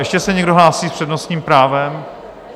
Ještě se někdo hlásí s přednostním právem?